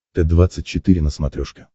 т двадцать четыре на смотрешке